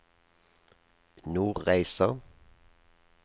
Nordreisa